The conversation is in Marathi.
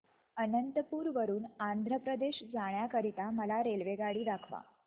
अनंतपुर वरून आंध्र प्रदेश जाण्या करीता मला रेल्वेगाडी दाखवा